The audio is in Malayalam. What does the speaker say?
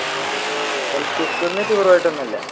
എൽ പി സ്കൂളിൽ നിന്ന് ടൂർ പോയിട്ടൊന്നും ഇല്ല